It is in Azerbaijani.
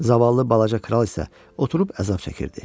Zavallı balaca kral isə oturub əzab çəkirdi.